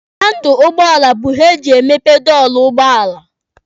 Handụlụ ụgbọala bụ ihe eji emepe dọọlụ ụgbọala.